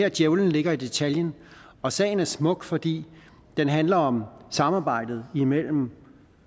at djævelen ligger i detaljen og sagen er smuk fordi den handler om samarbejdet mellem